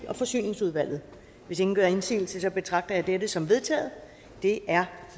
og forsyningsudvalget hvis ingen gør indsigelse betragter jeg dette som vedtaget det er